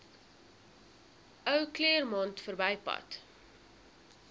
ou claremont verbypad